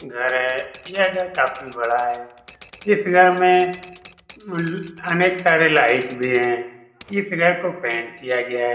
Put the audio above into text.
घर है यह घर काफी बड़ा है इस घर में अनेक सारे लाइट भी है इस घर को पेंट किया है।